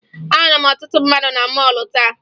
Ahụrụ m ọtụtụ mmadụ na mọọlụ taa